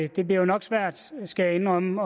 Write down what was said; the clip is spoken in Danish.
jo nok svært skal jeg indrømme